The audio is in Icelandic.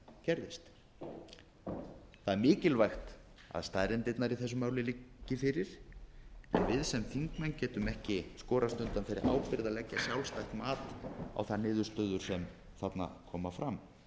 sem gerðist það er mikilvægt að staðreyndirnar í þessu máli liggi fyrir að við sem þingmenn getum ekki skorast undan þeirri ábyrgð að leggja sjálfstætt mat á þær niðurstöður sem þarna koma fram